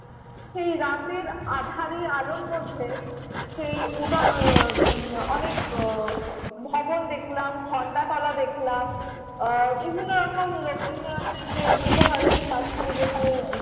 সেই রাতের আঁধারি আলোর মধ্যে সেই উদয় আহ অনেক ভবন দেখলাম, ঘন্টাতলা দেখলাম। আহ বিভিন্ন রকম রবীন্দ্রনাথের যে বিশ্বভারতীর মাঝখানে যেখানে